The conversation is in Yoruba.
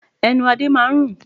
Ẹnu Adé máa ń rùn.